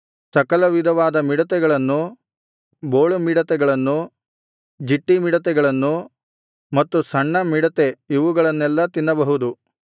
ಸಕಲವಿಧವಾದ ಮಿಡತೆಗಳನ್ನು ಬೋಳುಮಿಡತೆಗಳನ್ನು ಜಿಟ್ಟಿಮಿಡತೆಗಳನ್ನು ಮತ್ತು ಸಣ್ಣಮಿಡತೆ ಇವುಗಳನ್ನೆಲ್ಲಾ ತಿನ್ನಬಹುದು